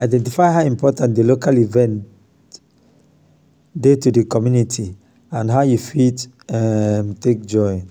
identify how important di local event dey to di community and how you fit um take join